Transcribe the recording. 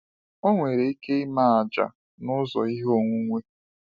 Ọ nwere ike ime àjà n’ụzọ ihe onwunwe.